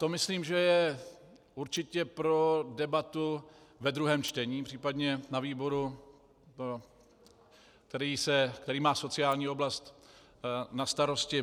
To myslím, že je určitě pro debatu ve druhém čtení, případně na výboru, který má sociální oblast na starosti.